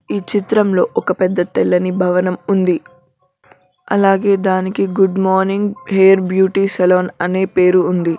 ఈ చిత్రంలో ఒక పెద్ద తెల్లని భవనం ఉంది అలాగే దానికి good morning hair beauty salon అని పేరు ఉంది.